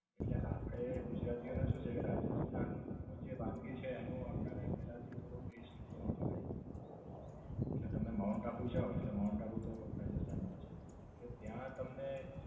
એટલે આપડે ગુજરાતીઓને શું છે કે રાજસ્થાનનું જે વાનગી છે તેનું આપડા ને પેલ્લા થી થોડો ટેસ્ટ માફક આયી જાય છે. એટલે તમે માઉન્ટ આબુ જાઓ એટલે માઉન્ટ આબુ તો રાજસ્થાન માં જ છે. એટલે ત્યાં તમને